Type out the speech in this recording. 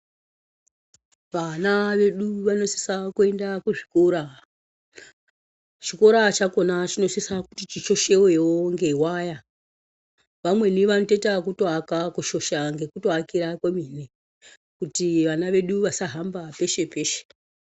Vana vedu vanosisa kuenda kuzvikora, chikora chakhona chinosisa kuti chishoshewowe ngewaya vamweni vanotoita ekutoaka kushosha ngekutoaka kwemene kuti vana vedu vasahamba peshe peshe.